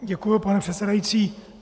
Děkuji, pane předsedající.